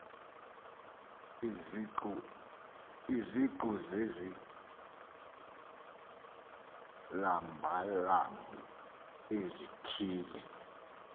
iziqu zezilabalabi ezithile